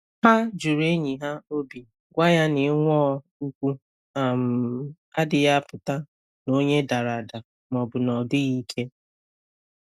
Ha jụrụ enyi ha obi, gwa ya na ịnwụọ ụkwụ um adịghị apụta na onye dara ada ma ọ bụ na ọ dịghị ike.